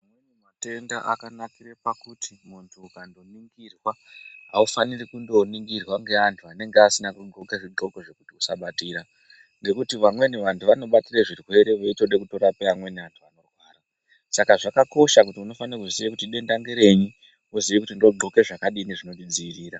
Matenda akanakire pakuti muntu ukandoningirwa haufaniri kundoningirwa ngeanhu anenge asina kuxoka zvixoko zvekuti usabatira ngekuti vamweni vantu vanobatire zvirwere veitode kutorape vamweni vanhu vanorwara. Saka zvakakosha kuti unofanire kuziye kuti denda ngerenyi woziye kuti ndoxoka zvakadini zvinondidziirira